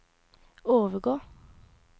overgå